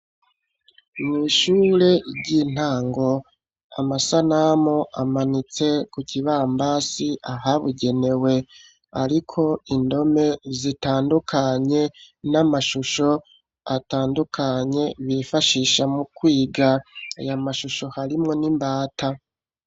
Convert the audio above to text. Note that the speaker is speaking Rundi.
Mw'ishure ry'intango, amasanamu amanitse ku kibambasi ahabigenewe, ariko indome zitandukanye, n'amashusho atandukanye, bifashisha mu kwiga. Ayo mashusho harimwo n'imbata.